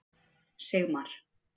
Sigmar